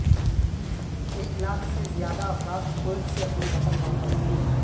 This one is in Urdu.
ایک لاکھ سے زیادہ افراد کویت سے اپنے وطن واپس